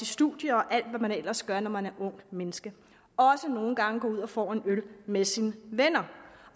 studie og alt hvad man ellers gør når man er et ungt menneske også nogle gange gå ud og få en øl med sine venner